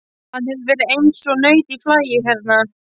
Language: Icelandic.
Hann hefur verið eins og naut í flagi hérna.